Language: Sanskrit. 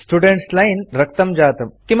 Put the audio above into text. स्टुडेन्ट् लाइन् रक्तं जातम्